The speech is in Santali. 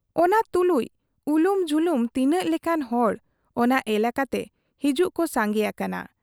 ᱚᱱᱟ ᱛᱩᱞᱩᱡ ᱩᱞᱩᱢ ᱡᱷᱩᱞᱩᱢ ᱛᱤᱱᱟᱹᱜ ᱞᱮᱠᱟᱱ ᱦᱚᱲ ᱚᱱᱟ ᱮᱞᱟᱠᱟᱛᱮ ᱦᱤᱡᱩᱜ ᱠᱚ ᱥᱟᱸᱜᱮ ᱟᱠᱟᱱᱟ ᱾